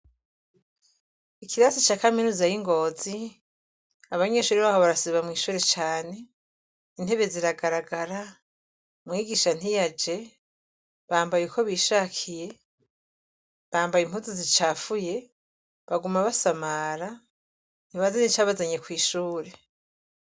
Ikirasi ca kaminuza y'ingozi abanyeshuri baho barasiba mw'ishure cane, intebe ziragaragara, mwigisha ntiyaje bambaye uko bishakiye, bambaye impuzu zicafuye, baguma basamara ntibazi n'icabazanye kw'ishure.